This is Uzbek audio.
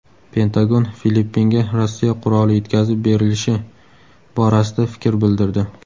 Pentagon Filippinga Rossiya quroli yetkazib berilishi borasida fikr bildirdi.